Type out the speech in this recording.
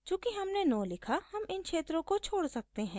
चूँकि हमने no लिखा हम इन क्षेत्रों को छोड़ सकते हैं